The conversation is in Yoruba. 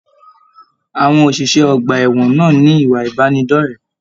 Àwọn oṣiṣẹ ọgbà ẹwọn náà ní ìwà ìbánidọ̀rẹ̀.